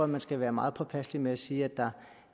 man skal være meget påpasselig med at sige at der